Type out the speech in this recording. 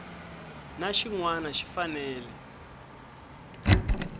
na xin wana xi fanele